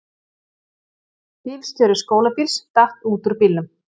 Bergheiður, hvaða dagur er í dag?